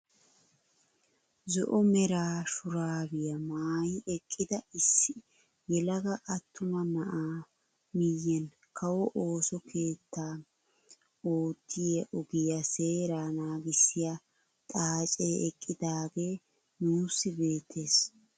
Zo'o mera shuraabiyaa maayi eqqida issi yelaga attuma naa'aa miyiyaan kawo ooso keettam oottiyaa ogiyaa seeraa nagissiyaa xaacee eqqidagee nuusi beettees.